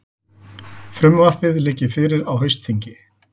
Frumvarpið liggi fyrir á haustþingi